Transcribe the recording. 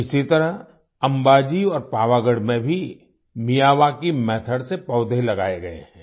इसी तरह अंबाजी और पावागढ़ में भी मियावाकी मेथोड से पौधे लगाए गए हैं